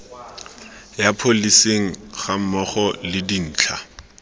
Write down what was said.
ya pholesi gammogo le dintlha